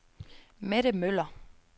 Mette Møller